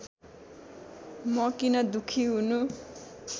म किन दुःखी हुनु